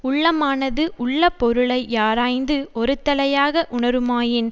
உள்ளமானது உள்ள பொருளை யாராய்ந்து ஒருதலையாக வுணருமாயின்